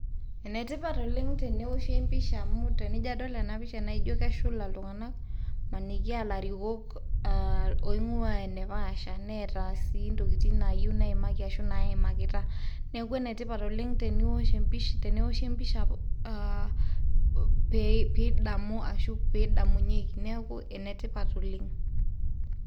Enetipat oleng nabo eoshi pisha amu ore ena pisha naa ijo keshula iltung'ana, maniki ilarikok oingwaa enepaasha neata sii intokitin nayiou neimaki ashu naimakita. Neaku ene tipat oleng teneoshi empisha amu ashu pidamu ashu pee edamunyeki neaku enetipat oleng'.